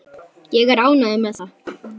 Er ég ánægður með það?